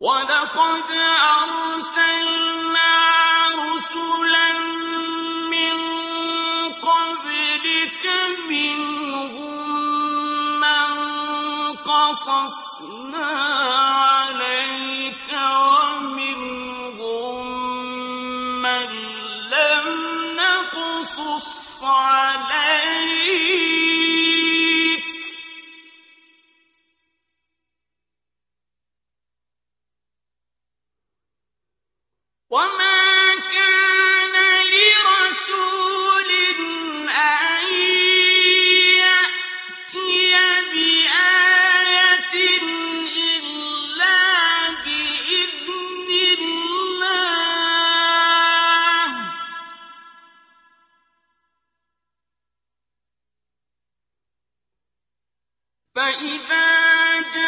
وَلَقَدْ أَرْسَلْنَا رُسُلًا مِّن قَبْلِكَ مِنْهُم مَّن قَصَصْنَا عَلَيْكَ وَمِنْهُم مَّن لَّمْ نَقْصُصْ عَلَيْكَ ۗ وَمَا كَانَ لِرَسُولٍ أَن يَأْتِيَ بِآيَةٍ إِلَّا بِإِذْنِ اللَّهِ ۚ فَإِذَا جَاءَ